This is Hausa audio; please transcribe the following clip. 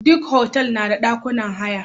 Duk hotal na da dakunan haya.